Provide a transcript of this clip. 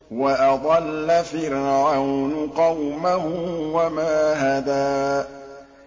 وَأَضَلَّ فِرْعَوْنُ قَوْمَهُ وَمَا هَدَىٰ